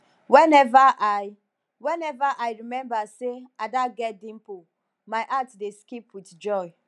whenever i whenever i remember say ada get dimple my heart dey skip with joy